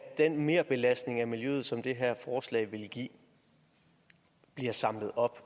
den merbelastning af miljøet som det her forslag vil give bliver samlet op